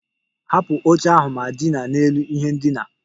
Hapụ oche ahụ ma dina n'elu ihe ndina!